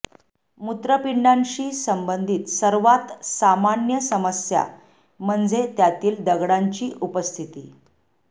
मूत्रपिंडांशी संबंधित सर्वात सामान्य समस्या म्हणजे त्यातील दगडांची उपस्थिती